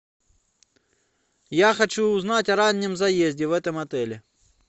я хочу узнать о раннем заезде в этом отеле